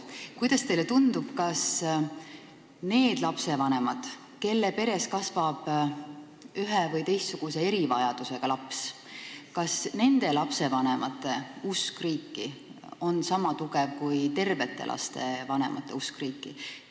Kuidas teile tundub, kas nende lastevanemate usk riiki, kelle peres kasvab ühe- või teistsuguse erivajadusega laps, on niisama tugev kui tervete laste vanemate usk riiki?